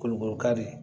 Kolo kolo kari